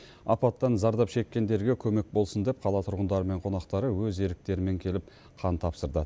апаттан зардап шеккендерге көмек болсын деп қала тұрғындары мен қонақтары өз еріктерімен келіп қан тапсырды